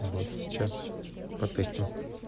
вот сейчас по песням